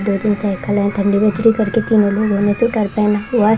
दो तीन साइकिल है ठंडी विचरी करके कि बोलो डरते है नहाया हुआ --